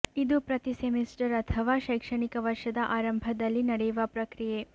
ಇದು ಪ್ರತಿ ಸೆಮಿಸ್ಟರ್ ಅಥವಾ ಶೈಕ್ಷಣಿಕ ವರ್ಷದ ಆರಂಭದಲ್ಲಿ ನಡೆಯುವ ಪ್ರಕ್ರಿಯೆ